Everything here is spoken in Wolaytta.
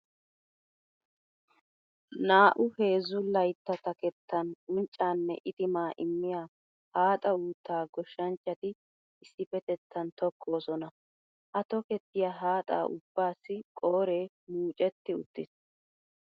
Naa"u heezzu laytta takettan unccaa nne itimaa immiya haaxa uuttaa goshshanchchati issippetettan tokkoosona. Ha tokettiya haaxa ubbaassi qooree muucetti uttiis.